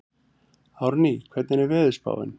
Árný, hvernig er veðurspáin?